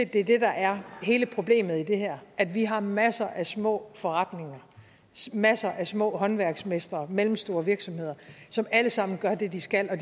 det er det der er hele problemet i det her at vi har masser af små forretninger masser af små håndværksmestre mellemstore virksomheder som alle sammen gør det de skal og